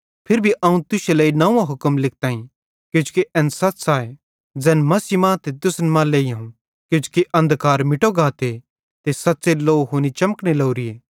फिरी भी अवं तुश्शे लेइ नंव्वो हुक्म लिखताईं किजोकि एन सच़ आए ज़ैन मसीह मां ते तुसन मां भी लेइहोवं किजोकि अन्धकार मिटतो गाते ते सच़्च़ेरी लौ हुनी चमकने लोरीए